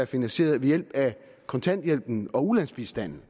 finansieret ved hjælp af kontanthjælpen og ulandsbistanden